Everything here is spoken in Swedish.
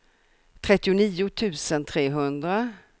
trettionio tusen trehundra